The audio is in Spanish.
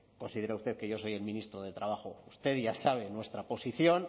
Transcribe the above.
considera usted que yo soy el ministro de trabajo usted ya sabe nuestra posición